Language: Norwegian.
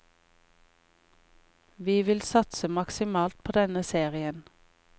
Vi vil satse maksimalt på denne serien.